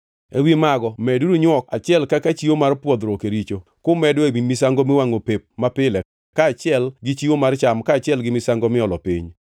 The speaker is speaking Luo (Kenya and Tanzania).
Ewi mago meduru nywok achiel kaka chiwo mar pwodhruok e richo, kumedo ewi misango miwangʼo pep mapile kaachiel gi chiwo mar cham kaachiel gi misango miolo piny.